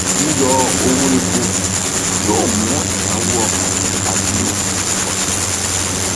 yíyọ owó epo yóò mú ìnáwó ọkọ àti ohun èlò pọ sí i